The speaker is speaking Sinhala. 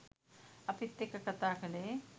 අපිත් එක්ක කතා කළේ.